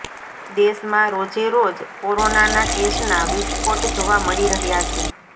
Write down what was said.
દેશમાં રોજેરોજ કોરોનાના કેસના વિસ્ફોટ જોવા મળી રહ્યાં છે